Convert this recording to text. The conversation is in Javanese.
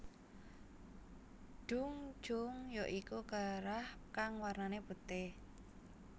Deong Jong ya iku kerah kang wernane putih